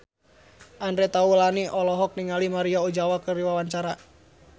Andre Taulany olohok ningali Maria Ozawa keur diwawancara